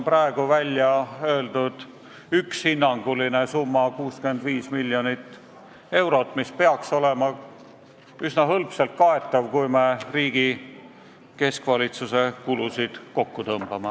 Praegu on välja öeldud hinnanguline summa 65 miljonit eurot, mis peaks olema üsna hõlpsalt kaetav, kui me riigi keskvalitsuse kulusid kokku tõmbame.